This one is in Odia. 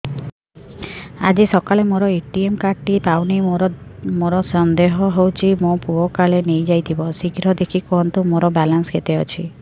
ଆଜି ସକାଳେ ମୋର ଏ.ଟି.ଏମ୍ କାର୍ଡ ଟି ପାଉନି ମୋର ସନ୍ଦେହ ହଉଚି ମୋ ପୁଅ କାଳେ ନେଇଯାଇଥିବ ଶୀଘ୍ର ଦେଖି କୁହନ୍ତୁ ମୋର ବାଲାନ୍ସ କେତେ ଅଛି